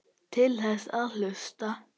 Til þess að hlusta.